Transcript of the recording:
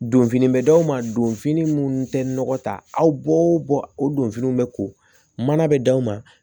Donfini bɛ d'aw ma donfini minnu tɛ nɔgɔ ta aw bɔ o bɔ o don finiw bɛ ko mana bɛ d'aw ma